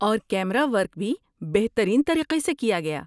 اور camera work بھی بہترین طریقے سے کیا گیا۔